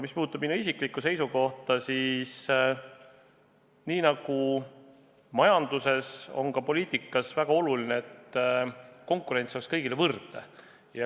Mis puudutab minu isiklikku seisukohta, siis nii nagu majanduses, on ka poliitikas väga oluline, et konkurents oleks kõigile võrdne.